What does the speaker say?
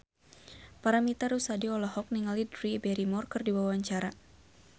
Paramitha Rusady olohok ningali Drew Barrymore keur diwawancara